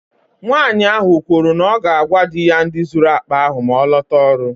Nwanyị ahụ kwuru na ya ga-agwa di ya ndị zuru akpa ahụ maa ọ lotara ọrụ.